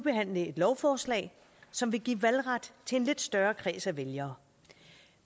behandle et lovforslag som vil give valgret til en lidt større kreds af vælgere